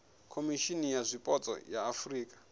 khomishimi ya zwipotso ya afurika